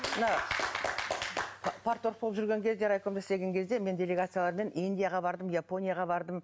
мына парторг болып жүрген кезде райкомда істеген кезде мен делегациялармен индияға бардым японияға бардым